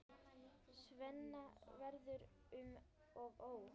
Svenna verður um og ó.